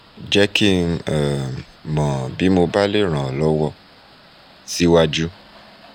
jẹ́ kí n um mọ́ bí mo bá le ràn ọ́ lọ́wọ́ síwájú